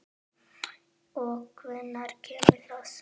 Og hvenær kemur það?